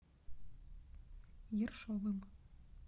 ершовым